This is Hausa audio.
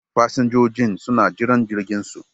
Fasinjojin suna jiran jirginsu.